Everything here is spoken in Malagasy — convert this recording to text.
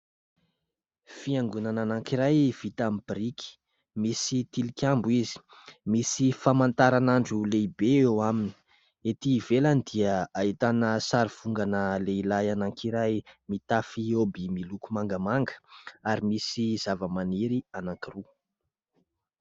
Fiangonana anankiray vita amin'ny biriky. Misy tilikambo izy, misy famantaranandro lehibe eo aminy. Etỳ ivelany dia ahitana sarivongana lehilahy anankiray mitafy oby miloko mangamanga ary misy zava-maniry anankiroa.